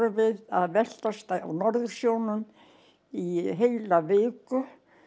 við að veltast á Norðursjónum í heila viku